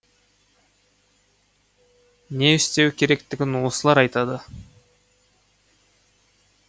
не істеу керектігін осылар айтады